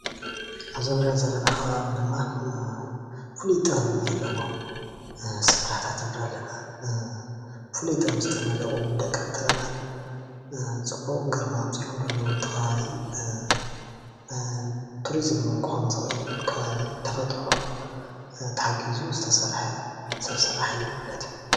እዚ እንሪኦ ዘለና ኸባቢ ድማ ፍሉይ ጥበብ ዘለዎም ስፍራታት ንርኢ ኣለና። ፍሉይ ጥበብ ዝተነደቁ ደቀቅቲ ኣእማን ፅቡቅ ግርማ ኣምፂኦምሉ ኣለው ነቲ ኸባቢ ፣ ቱሪዝም እውን ክኸውን ዝኽእል ከባቢ ተፈጥሮ ተሓጊዙ ዝተሰርሐ ሰብ ስራሕ እዩ ማለት እዩ።